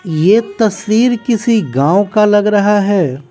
ये तस्वीर किसी गांव का लग रहा है।